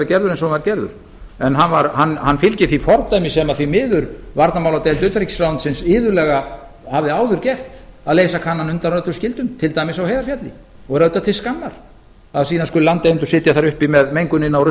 gerður eins og hann var gerður en hann fylgir því fordæmi sem því miður varnarmáladeild utanríkisráðuneytisins iðulega hafði áður gert að leysa kanann undan öllum skyldum til dæmis á heiðarfjalli og er öllum til skammar að síðan skuli landeigendur sitja þar uppi með mengunina